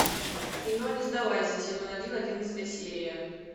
кино не сдавайся сезон один одиннадцатая серия